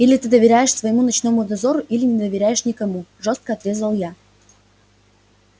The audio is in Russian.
или ты доверяешь всему ночному дозору или не доверяешь никому жёстко отрезал я